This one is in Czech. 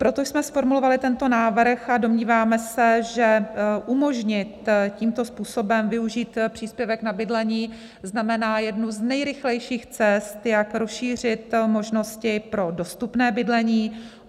Proto jsme zformulovaly tento návrh a domníváme se, že umožnit tímto způsobem využít příspěvek na bydlení znamená jednu z nejrychlejších cest, jak rozšířit možnosti pro dostupné bydlení.